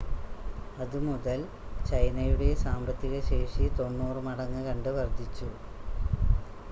അത് മുതൽ ചൈനയുടെ സാമ്പത്തിക ശേഷി 90 മടങ്ങ് കണ്ട് വർദ്ധിച്ചു